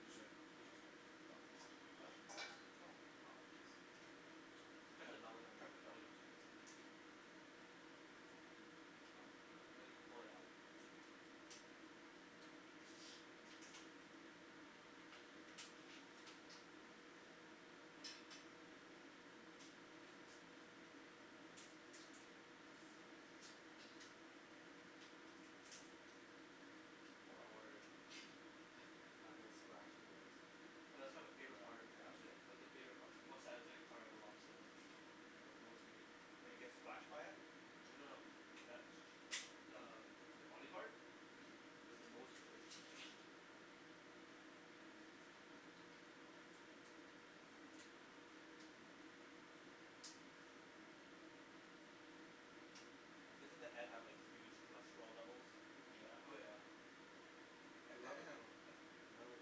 Use your, use your Huh? Oh. Cut the belly. Cut the belly into it. Oh huh. Now you can pull it out. Don't worry I'm not gonna splash you guys. That's like my favorite, part, actually, that's my favori- part, most satisfying part of the lobster, like the most meat. When you get splashed by it? Well no, that's, that's uh the body part? Mhm. Cuz it's the most right. Doesn't the head have like huge cholesterol levels? Oh yeah. I love it though, I love it.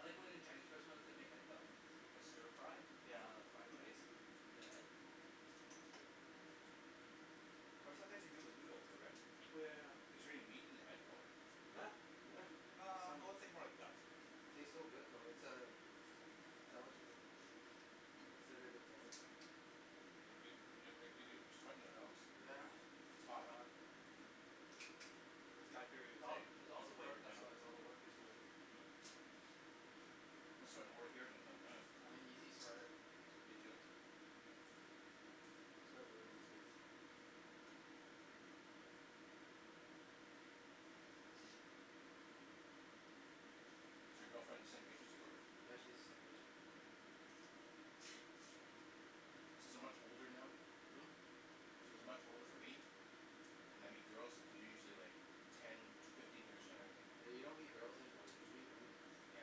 I like when in Chinese restaurants, they make like a, like a stir fry, Yeah. of fried rice, in the head? It's good. Or sometimes they do it with noodle too right? Oh yeah yeah yeah. Is there any meat in the head though? Huh? Yeah! There's Ah, some, well it's like more like guts and it tastes so good though. It's uh, a delicacy. Considered a delicacy. You're sweating there Alex. Yeah. It's hot huh. It's got It's all, it's all it's the work flavored now. that's why, it's all the work he's doing. Mhm. I'm sweating more here than in tennis. I'm an easy sweater. Me too. I sweat really easy. Is your girlfriend the same age as you or? Yeah, she's the same age. Mhm. Since I'm much older now, Hm? since there's not much older for me, when I meet girls they're usually like ten, fifteen years younger than me. Yeah you don't meet girls anymore, you meet women. Yeah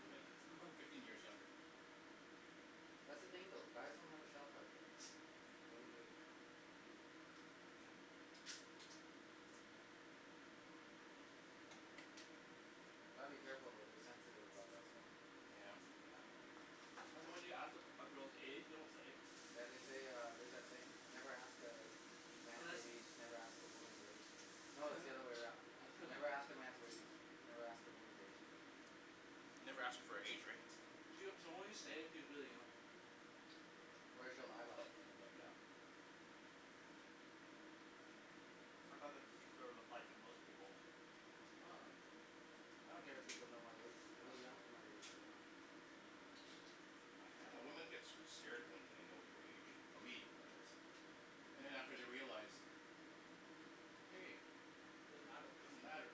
women, fifteen years younger. That's the thing though. Guys don't have a shelf life though. Women do. Mhm. Gotta be careful though, they're sensitive about that stuff. Yeah. Yeah. That's why when you ask, a a girl's age, they won't say. Yeah they say uh, there's that saying. Never ask a man's age, never ask a woman's wage. No it's the other way around, never ask a man's wage, never ask a woman's age. Mm. Never ask her for her age right. She'll she'll only say it if she's really young. Or she'll lie about it. Yeah. I thought that's sort of applied to most people. I don't care if people know my age, I look young for my age so I dunno, women get s- scared when they know your age, for me anyways. And after they realize, hey, it doesn't matter.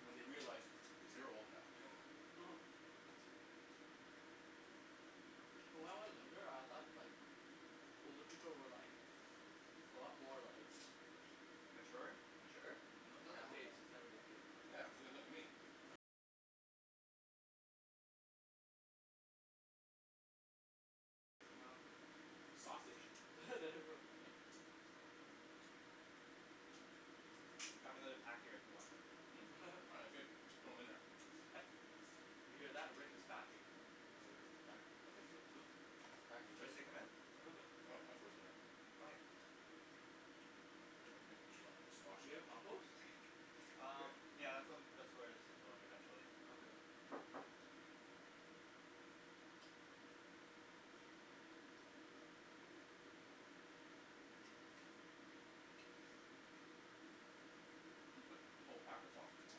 When they realize, cuz they're old now When I was younger, I thought like, older people were like, a lot more like, Mature? mature, It's not the Hell case, no. it's never the case now. Sausage. There we go. I have another pack here if you want them. Hm? Oh that's good, just throw 'em in there. He's pa- did you hear that, Rick is packing. Yeah, Rick is packing. He's packing Should I heat. stick them in? I throw Okay. this in there already Do you have compost? Um, Here? yeah, that's whe- um that's where this is going eventually. Okay. Did you put the whole pack of sausage there?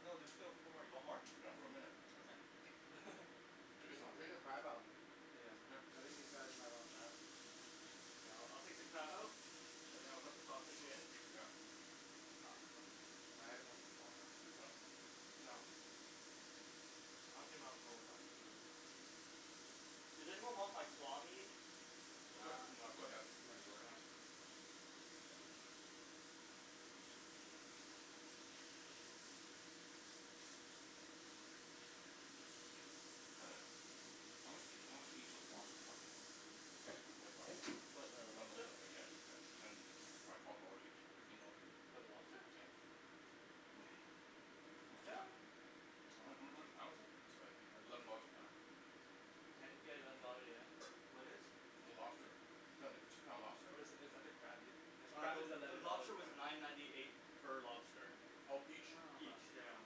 No, there's still four more, you want more? Yeah, throw 'em in there. Okay. Jimmy's Ta- still hungry take the right? crab out, Yeah. I think these guys might want crab. Yeah, I'll I'll take the crab out? And then I'll put the sausage in. Yeah. Ah, my headphones keep falling out. Yeah. Does anyone want like claw meat? Nah, That's okay. too much work. How much, how much, did each those lobster cost then? Twenty bucks? No no no then yeah, ten t- ten or twelve dollars each? Fifteen dollars each? For the lobster? Yeah. Yeah How h- how how much a pound is it? Eleven dollars a pound? Ten? Yeah eleven dollar, yeah yeah What is? The lobster. Is that the two pound lobster? Or is that, is that the crab, the Uh crab the is the eleven dollars lobster a was pound. nine ninety eight per lobster. Ah Oh each? huh. Each, yeah.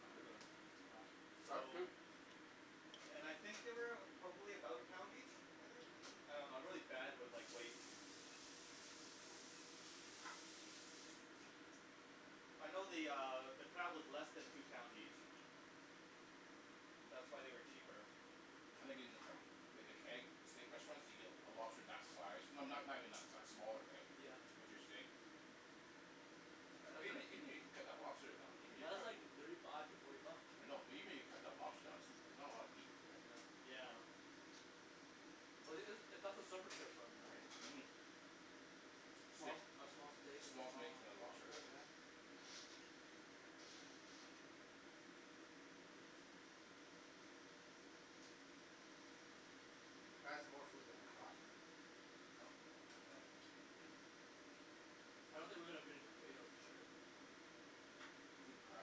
That's pretty good, that's not bad. That's So, cheap! and I think they weigh about, probably about a pound each? I think? I dunno, I'm really bad with like, weights. Mm. I know the uh, the crab is less than two pounds each. That's why they were cheaper. I think in like the Keg, steak restaurants, you get a lobster for that size, no- no- not even that size, smaller right, Yeah. with your steak Yeah but that's Even even even if you cut the lobster down, even if li- , you that's cut, like thirty five to forty bucks. I know, but even if you cut the lobster down, there's s- not a lot of meat here. Yeah. Yeah. Well it's it's a, that's a surf and turf menu Mhm right Steak, a small steak and a small steaks small and a lobster lobster, right yeah? That was more food than I thought. Huh? Yeah. I don't think we're gonna finish the potatoes for sure. Even crab.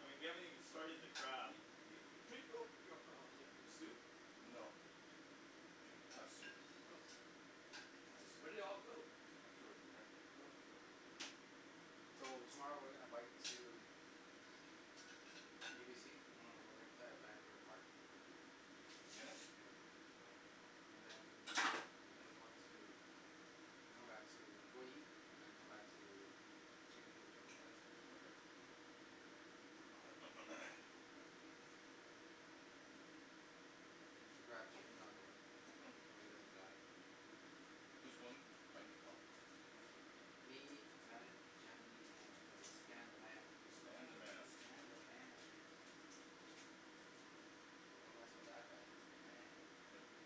I mean, we haven't even started the crab. drink yo- , your soup? No. I'm drinking the soup. Oh, where'd it all go? I threw it in there. So, tomorrow we're gonna bike to UBC. Mm And we're going to play at Vanier park. Tennis? Mhm Yeah, and then, we're going to come back to go eat, and then come back to q e and Jordan's house. Okay Should grab Jimmy on the way, Hm? I know he doesn't drive. Who's going biking tomorrow? Me, Bennett, Jen, and uh Stan the man. Stan the man Stan the man! Don't mess with that guy, he's the man.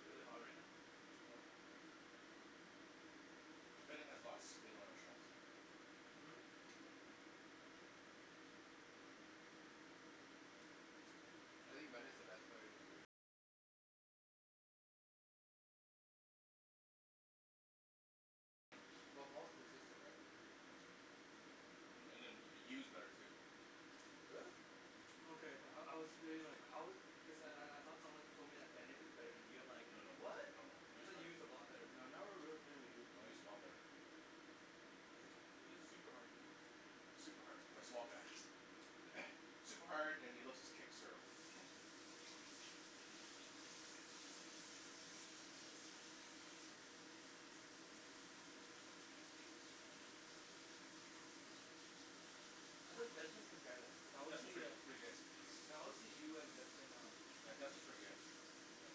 Is it really hot right now? No Bennett has lots of spin on his shots. Mhm Well Paul's consistent right Mm And and then Y- Yu's better too. Really? Okay, I I was debating like how good, cuz then I I thought someone once told me that Bennett is better than Yu, I'm like, No no no, "What?", no no, I Yu's thought better. Yu is a Well lot better. right now Yu's a lot better. He hits, he hits super hard man Super hard, for a small guy super hard, and he loves his kick serve How does Desmond compare then? Cuz I always Desmond's see pretty uh, pretty good, I always see Yu and Desmond uh yeah, Desmond's pretty good. Yeah.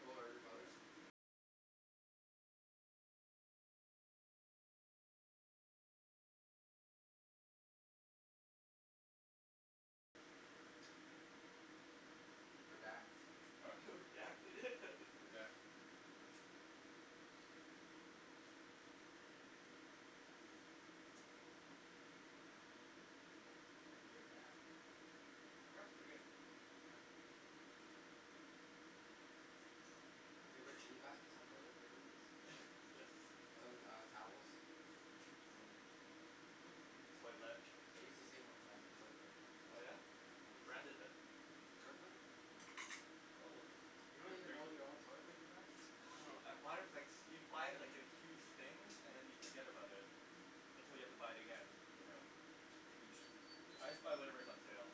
Oh are they brothers? Redact Huh? Redact it Redact. Crab's pretty good. Yeah. Hey Rick can you pass me some toilet paper please? Yes. Some uh, towels? Some, toilette. I use the same brand of toilet paper. Oh yeah? Yeah, What thanks. brand is it. Kirkland? Oh, You you don't have even grea- know your own toilet paper brand? , oh, I buy it with like, you buy it like in huge things and then you forget about it. Until you have to buy it again. Yeah, huge I just buy discount. whatever is on sale.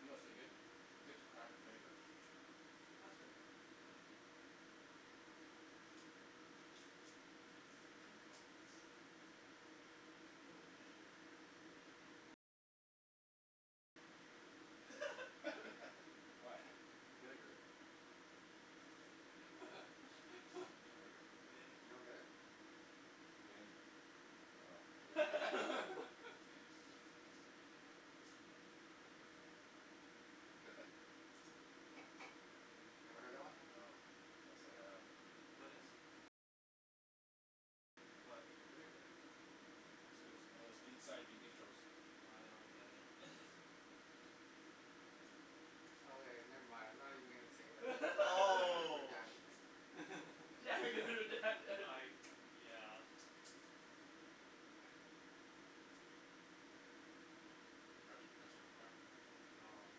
You know what's really good? Dip the crab in vinegar. Mm Holy shit. What? Vinegar. Vinegar You don't Vin get it? Vin, oh. Never heard that one? No, can't say I have. What is? What? Vinegar It's one of Vietnamese inside jokes. Nah I don't get it Okay never mind, I'm not even going to say that, you all are Oh! bashing it I, yeah. grab some more crab. No, I'm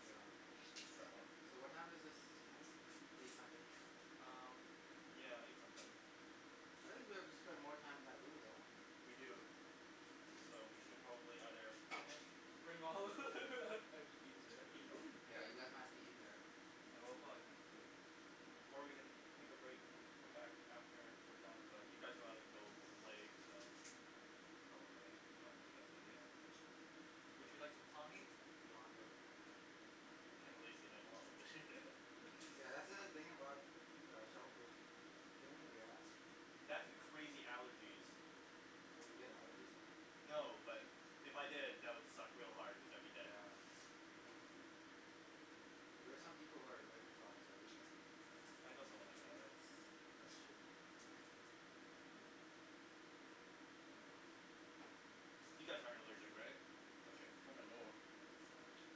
good on crab. Just just try one. So what time is this done? Eight something? Um, yeah, eight something. I think we have to spend more time in that room, don't we? We do, so we should probably either finish Bring all and just eat it eating. No there Yeah, you guys might have to eat in there. No we'll probably finish soon. Or we can take a break and then come back after we're done but you guys wanna go play, so, probably not the best idea. Would you like some claw meat? No, I'm good. I'm kinda lazy and I don't wanna open it. That's the thing about uh shellfish, it's a pain in the ass. That and the crazy allergies Oh you get allergies from them? No, but if I did, that would suck real hard cuz I'd be dead. Yeah. There are some people who are allergic to almost everything. I know someone like that. That's, that's shitty. You guys aren't allergic, right? Okay. Not that I know of. Nah.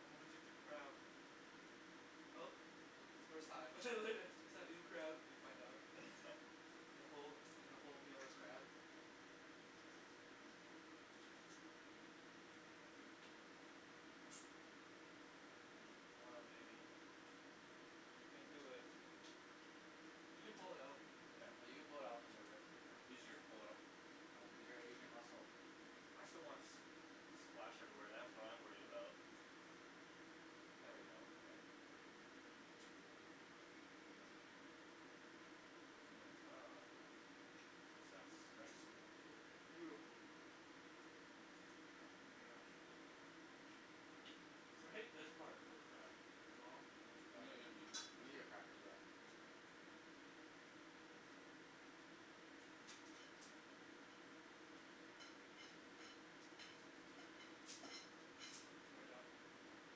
I'm allergic to crab! Oh, first time first time eating crab and you find out, and the whole, the whole meal is crab. Come on baby. You can do it. You can pull it out. Yeah, Yeah, you you can can pull pull it it out. out from there, Rick. Easier to pull it out. Uh use your Asian muscle. I just don't wanna s- the splash everywhere, that's what I'm worried about. There we go, okay. Success. Nice. Yes, beautiful. Mhm. I hate this part of uh the claw Yeah, you need a cracker for that Get it done.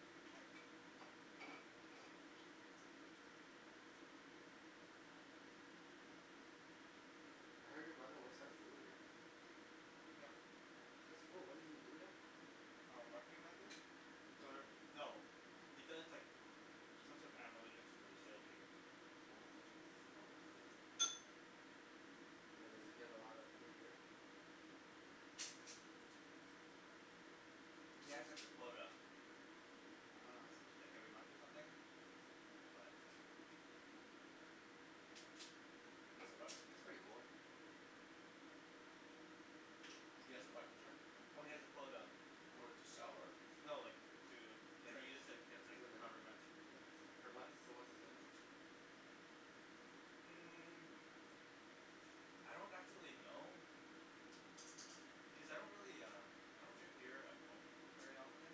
I heard your brother works at a brewery. Yeah. That's cool, what does he do there? Um, marketing manager? Er, no, he does like, some sort of analytics for the sale team. Oh okay. So does he get a lot of free beer? He has like a quota. Ah I see. Like every month or something, but That's pretty cool. He has a what, I'm sorry? Oh he has a quota, A quota to sell or? no like, to, like, Drink he just like, gets like, however much per month. So what's his limit? Mm, I don't actually know, cuz I don't really um, I don't drink beer at home very often,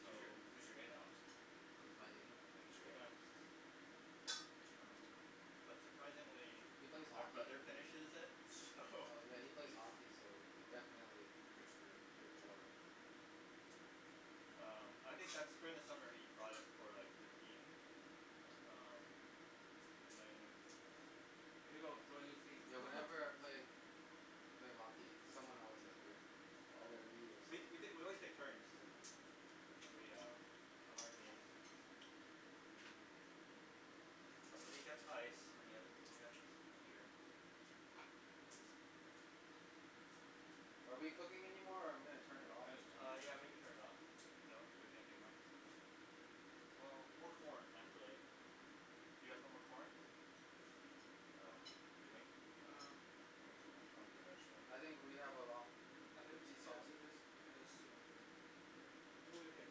so He's your, he's your in, Alex. He's my in? Yeah, he's your in. um, but surprisingly, He plays my hockey. brother finishes it, so Oh yeah, he plays hockey so definitely Free spirit Drinks quota Um, I think that's, during the summer, he brought it for like the team, um, and then Here you go, join his team. Yeah, whenever I play, played hockey, someone always has beer, Oh, either me or we someone t- , we, always took turns, Yep. when we um, on our team. Somebody gets ice, and the other people get the beer. Are we cooking anymore or I'm gonna turn it off Uh yeah maybe turn it off, cuz I don't think there's anything left. Well, more corn actually. Do you guys want more corn? Um, Jimmy? Um I'm I'm I'm good actually. I think we have a lot, I think we want these sh- yeah, sausages? it is too much, Rick, I'm okay.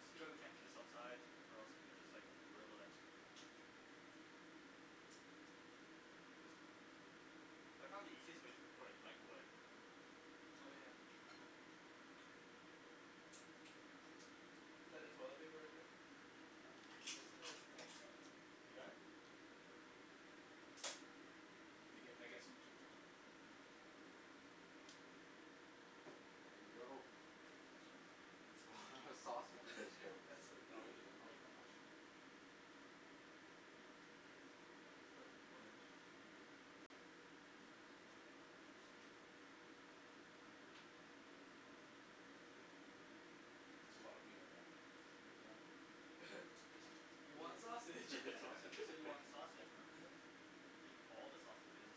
It's too bad we can't do this outside, or else we could just like, grill it. I found the easiest way to cook corn is microwave. Oh yeah. Is that the toilet paper right there? Yes it is, can you gr- . You got it? Yeah. Can I, can I get, can I get some Jim- Jimmy? There you go. Thanks man. That's a lot of That's sausages. You are a lot of, I won't messy eat that, I won't eat that much. I just put a bunch. That's a lot of wiener man. Yeah. You want Yeah, you sausage got You sausages. said you want the sausage, man. Give you all the sausages.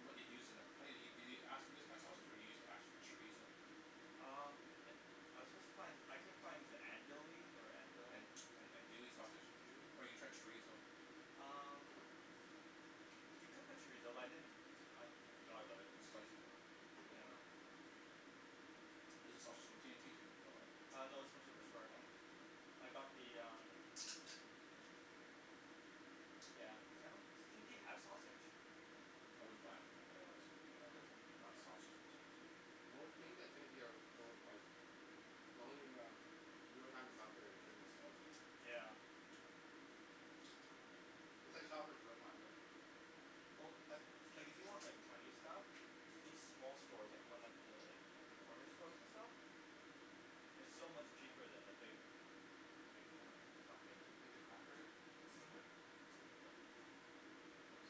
What do you use in tha- did you ask for this kind of sausage or did you ask for chorizo? Um, I, I was supposed to find, I couldn't find, andouille or andel- An- , andouille sausage? andouille? Or you tried chorizo Um, you could put chorizo but I didn't, I forgot about it It's spicy though. Yeah. Is the sausage from T&T too? No Uh no, it's from Superstore. Hm I got the um, yeah cuz I don't, does T&T have sausage? I wouldn't buy it from them anyways. Yeah. Not sausage from T&T Most things at T&T are over overpriced. The only um the only time we shop there is during the sales. Yeah. It's like Shopper's Drug Mart right? Well, like, like, if you want like Chinese stuff, these small stores, like the ones th- like, the corner stores and stuff? They're so much cheaper than the big, big Yeah, companies. you have the cracker there? Mhm. Thanks.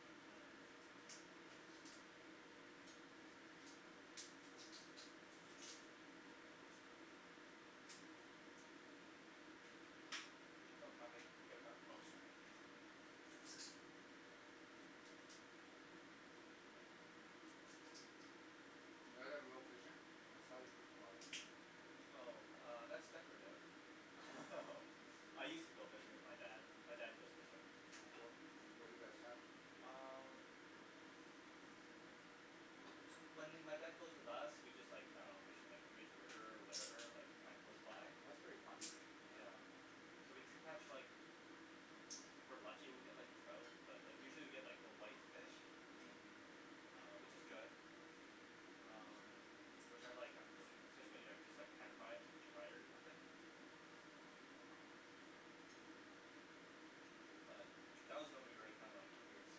Oh that's my plate, I'll get it back. Oh sorry Did you guys ever go fishing? I saw your fishing rod. Oh, uh, that's decorative Oh. I used to go fishing with my dad, my dad goes fishing. Oh cool. What do you guys catch? Um, when m- my dad goes with us, we just like, I dunno, just fish in like the Fraser River, whatever, like kinda close Oh by? that's pretty fun. Yeah, so we catch like, if we're lucky we get like trout, but like usually we get like the white fish Mhm which is good. Um, which I like actually. Especially when you like just like pan fry it or deep fry it or something? But, that was when we were like kinda like when we were s-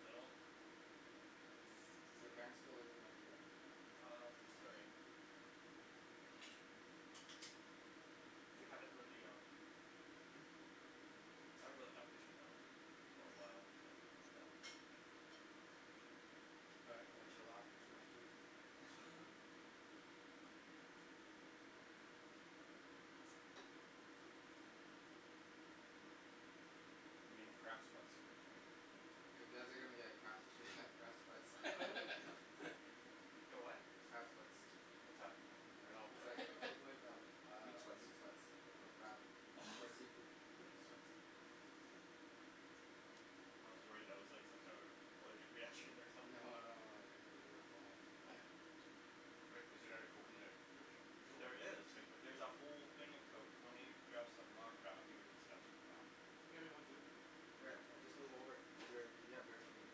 little. Do your parents still live in Vancouver? Um, Surrey. We haven't really um I haven't really gone fishing though, for a while, but it's fine. All right gonna chill out. Too much food. I'm getting crab sweats here, Jimmy. You guys are gonna get crap crab sweats Get what? Crab sweats. What's that? I dunno It's like the equivalent of Meat um sweats meat sweats but for crab. For seafood. meat sweats. I was worried that was like some sort of allergic reaction or No something. no no worries, we're fine. Rick, is there another Coke in the fridge? There is, there's a whole thing of Coke, let me grab some, aw crap, my fingers are stuck. Oh, can you get me one too? Sure, I'll just move over, you a- you have dirty fingers.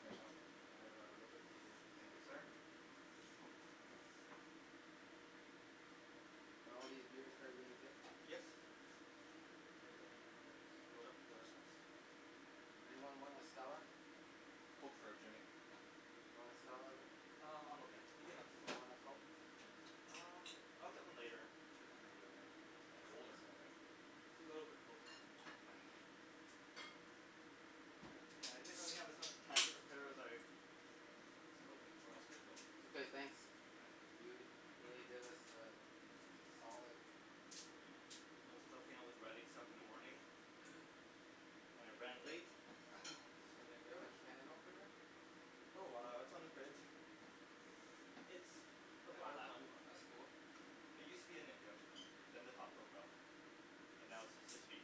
Thanks Al I have a little bit cleaner Thank you so sir. Are all these beers for our game too? Yes. Anything in there is Oh. up for Anyone want a Stella? Coke for Jimmy. You wanna Stella Rick? Um I'm okay, you can have Want a Coke? Um I'll get one later. It's colder in there right? It's a little bit cold. Yeah I didn't really have a chance to prep- prepare better. Okay. Okay thanks. You really did us a solid. I was helping with the writing stuff in the morning. And it ran late. Is there a can opener? Oh it's on the fridge. It's the black one. That's cool. It used to be a ninja. Then the top broke off. And now it's just his feet.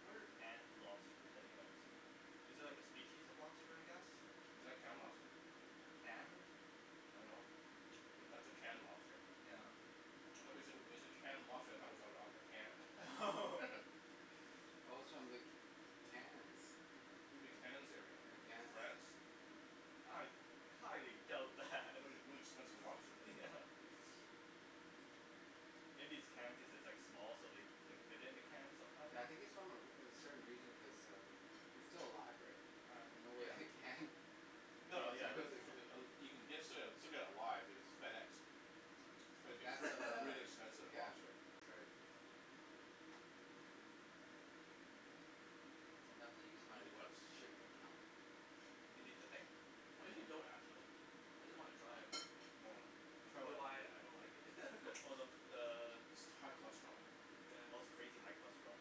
What are canned lobsters anyways? Is it like a species of lobster I guess? Is that canned lobster? Canned. I don't know. That's a canned lobster? Yeah. I though wen- when you said canned lobster I though it was out- Oh. Oh. outta a can. Oh it's from the Cannes. You mean the Cannes area, The in Cannes. France? I highly doubt that. That would be really expensive lobster. Yeah. Maybe it's canned because it's like small so they can fit in a can sometimes. Yeah I think its from a re- a certain region cuz um its still alive, Oh. no Yeah. way it canned. No yeah it's uh You can ge- still get it live, you know, it's FedExed. Is And would be that's still uh, really expensive yeah, lobster. that's right. Sometimes I use my work's shipping account. Do you need the thing? Cuz you don't actually I just wanna try it. Hold on. I For don't know what? why I don't like it. Oh the the High cholesterol. Oh it's crazy high cholesterol.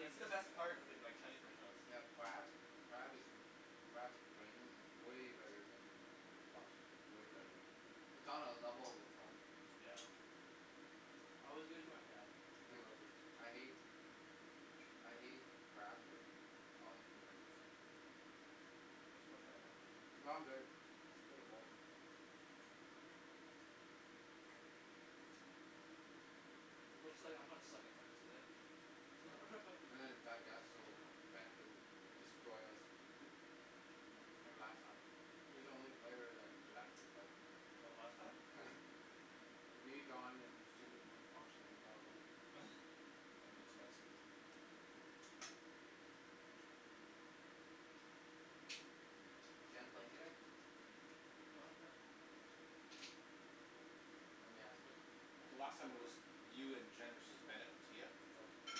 It's the best part in like Chinese restaurants. They have crab, crab is crab's brains is way better then lobster, way better. It's on a level of its own. Yeah. I always give it to my dad he loves it. I hate I hate crab but I'll eat the brains. No I'm good, pretty full. Looks like I'm gonna suck at tennis there. digest so Bennet doesn't destroy us like last time he's the only player that could actually play. Oh last time? Yeah. Me, Don and Jimmy weren't functioning properly. Is Jen playing today? Lemme ask her. So last time it was you and Jen versus Bennet and Tia? Yeah.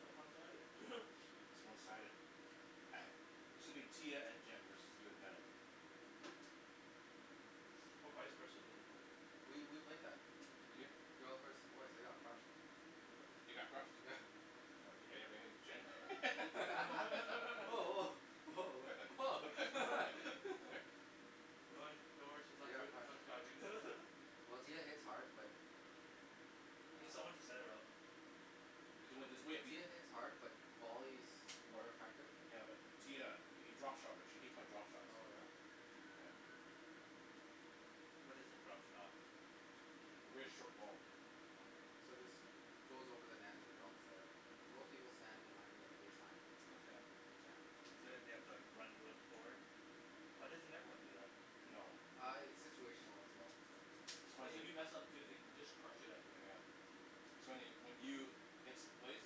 That's one sided. It's one sided. Shoulda been Tia and Jen versus you and Bennett. Or vise versa doesn't matter. We we play better. You did? Girls versus boys they got crushed. They they got crushed? What your Jen. woah Oh Oh woah, woah oh Don't worry don't worry she's Oh not yeah ca- Well Tia hits hard but Oh She's need someone to Ah set it up. There's there's a way. Tia hits hard but volleys more More. effective. Yeah but Tia you drop shot her she hates my drop shots. Oh yeah. What is a drop shot? Really short ball. Yeah. So it just goes over the net and drops there. Most people stand behind the baseline. Okay. Yeah. So then you have to like run real forward? Yeah. Why doesn't everyone do that? No. Ah it's situational as well. It's Cuz funny. if you mess up too they just crushed it outta Yeah. your Yeah. air. So anyway when you hits place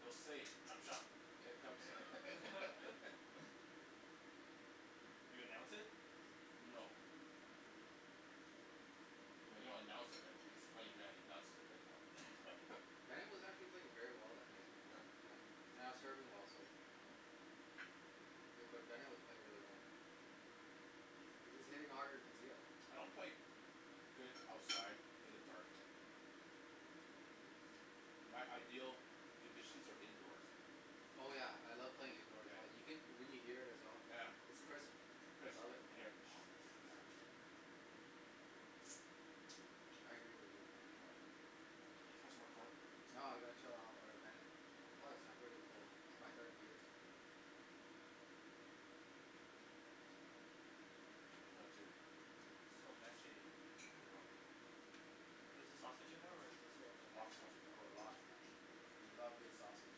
you'll say "drop shot". You announce it? No. No you don't announce it but he's a funny guy he announces it right. Bennet was actually playing very well that night, Oh yeah. yeah, and I was serving well so. Hmm Bu- but Bennet was playing really well. He he was hitting harder then Tia. I don't play good outside in the dark. My ideal conditions are indoors. Oh yeah I love playing indoors well you can you can hear it as well. Yeah, yeah. I Chris love it. yup. Yeah. I agree with you on that. No. Ca- have some more corn? No or ah Bennet. Plus I'm pretty cold my third year. I'm done too. So messy. I know. Is the sausage in there or is it in the thing? Lots of sausage. Oh lots man. You love big sausage,